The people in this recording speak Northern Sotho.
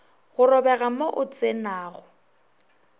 go robega mo o tsenago